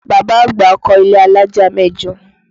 Bàbá àgbà kọ ilé alájà mẹ́jọ